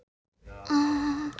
Eruð þið ekki til í að koma uppúr?